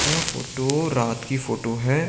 यह फोटो रात की फोटो है।